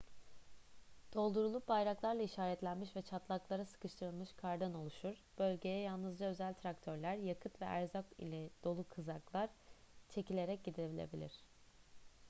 doldurulup bayraklarla işaretlenmiş ve çatlaklara sıkıştırılmış kardan oluşur bölgeye yalnızca özel traktörler yakıt ve erzak ile dolu kızaklar çekilerek gidilebilir